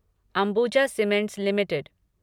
Ambuja cements limited